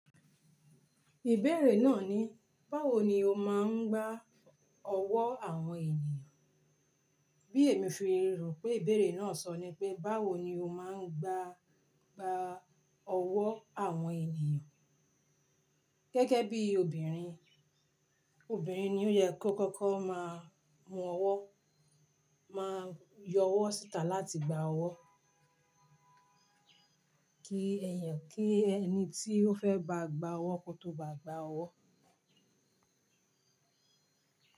Ìbéèrè náà ni, báwo ni o máa ń gbà ọ̀wọ́ àwọn ènìyàn? Bí èmi fi rò pé ìbéèrè náà sọ ni pé, báwo ni o máa ń gbà, gbà ọ̀wọ́ àwọn ènìyàn? Gẹ́gẹ́ bí obìnrin, obìnrin ni ó yẹ kó kọ́kọ́ máa mú ọ̀wọ́, máa yọ ọ̀wọ́ síta láti gbà ọ̀wọ́. Kí ẹ̀yàn, kí ẹni tí ó fẹ́ ba gba ọ̀wọ́ kó tó ba gba ọ̀wọ́.